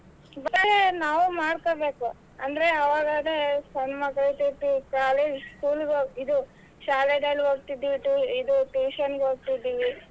ಇವಾಗ ನಾವು ಮಾಡ್ಕೋಬೇಕು ಅಂದ್ರೆ ಅವಾಗರೆ ಹೆಣ್ಮಕ್ಳು ಶಾಲೆ school ಇದು ಶಾಲೆನಲ್ಲಿ ಓದ್ತಿದ್ವಿ ಇದು ಇದು tuition ಗ ಹೋಗ್ತಿದ್ವಿ.